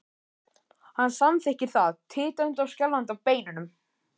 Hann samþykkir það, titrandi og skjálfandi á beinunum.